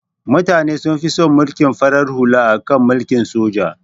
Mutane sun fi son mulkin farar hula akan mulkin soja